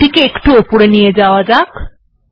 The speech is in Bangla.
এইটি কে একটু ওপরে নিয়ে যাওয়া যাক